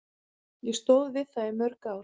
Ég stóð við það í mörg ár.